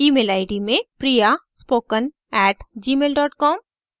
gmail id में priyaspoken @gmail com